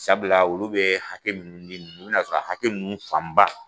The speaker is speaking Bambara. Sabula olu be hakɛ mun nin i be na sɔrɔ hakɛ fan ba